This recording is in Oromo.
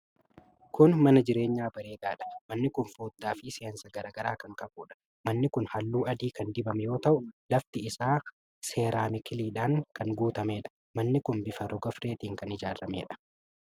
Kun mana jireenyaa bareedaadha. Manni kun foddaa fi seensa garaa garaa kan qabuudha. Manni kun halluu adii kan dibame yoo ta'u, lafti isaa seeraamikiidhaan kan guutameedha. Manni kun bifa rogarfeetiin kan ijaarameedha.